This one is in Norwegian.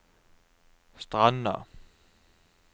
Stranda